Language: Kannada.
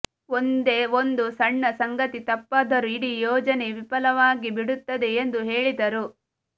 ಒಂದೇ ಒಂದು ಸಣ್ಣ ಸಂಗತಿ ತಪ್ಪಾದರೂ ಇಡೀ ಯೋಜನೆ ವಿಫಲವಾಗಿಬಿಡುತ್ತದೆ ಎಂದು ಹೇಳಿದರು